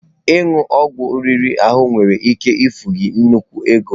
Ịṅụ ọgwụ ọjọọ riri ahụ nwere ike na-efu gị nnukwu ego.